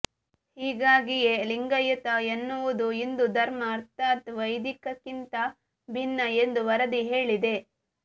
ಹೀಗಾಗಿಯೇ ಲಿಂಗಾಯತ ಎನ್ನುವುದು ಹಿಂದೂ ಧರ್ಮ ಅರ್ಥಾತ್ ವೈದಿಕಕ್ಕಿಂತ ಭಿನ್ನ ಎಂದು ವರದಿ ಹೇಳಿದೆ